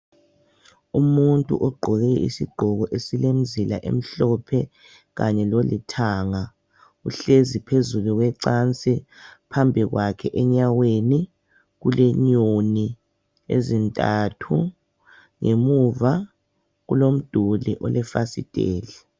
Umuntu ogqoke isigqoko esilemizila emhlophe kanye lolithanga. Uhlezi phezulu kwecansi ,phambi kwakhe enyaweni kulenyoni ezintathu ,ngemuva kulomduli olefasitheli.